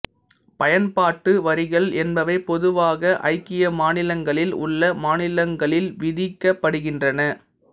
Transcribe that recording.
பயன்பாட்டு வரிகள் என்பவை பொதுவாக ஐக்கிய மாநிலங்களில் உள்ள மாநிலங்களில் விதிக்கப்படுகின்றன